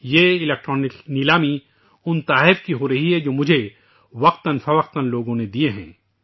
یہ الیکٹرانک نیلامی ان تحائف کے لیے منعقد کی جا رہی ہیں جو لوگوں نے مجھے وقتا فوقتا دیے ہیں